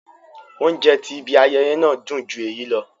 Óunjẹ ti ìbi àyẹyẹ náà dun ju éyi lọ